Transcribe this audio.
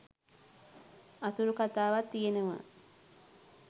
අතුරු කතාවක් තියෙනවා